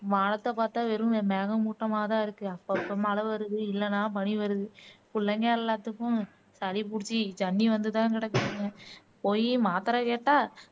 வானத்தை பாத்தா வெறும் மேக மூட்டமா தான் இருக்கு அப்பப்போ மழை வருது இல்லன்னா பனி வருது புள்ளைங்க எல்லாத்துக்கும் சளி புடிச்சி ஜன்னி வந்து தான் கிடக்குதுங்க போயி மாத்திரை கேட்டா